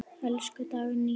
Elsku Dagný.